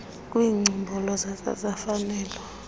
kwicbnrm sasaza imfanelo